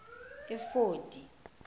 efodi